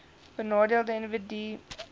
benadeelde individue hbis